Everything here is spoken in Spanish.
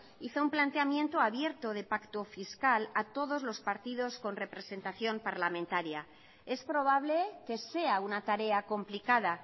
hizo un planteamiento abierto de pacto fiscal a todos los partidos con representación parlamentaria es probable que sea una tarea complicada